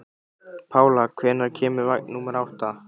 Pála, hvenær kemur vagn númer átta?